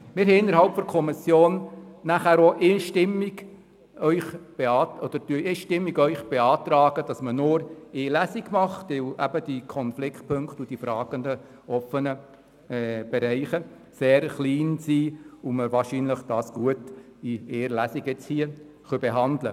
Die Kommission beantragt Ihnen einstimmig, nur eine Lesung durchzuführen, da die Konfliktpunkte und die offenen Fragen sehr klein sind und wir das Gesetz sicher in einer einzigen Lesung beraten können.